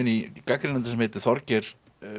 í gagnrýnanda sem heitir Þorgeir